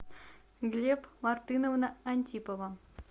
глеб мартыновна антипова